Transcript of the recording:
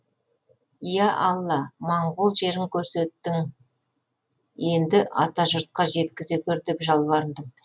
иә алла моңғол жерін көрсеттің енді атажұртқа жеткізе гөр деп жалбарындым